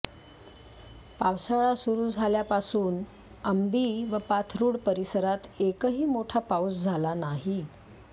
पावसाळा सुरु झाल्यापासून अंबी व पाथरुड परिसरात एकही मोठा पाऊस झाला नाही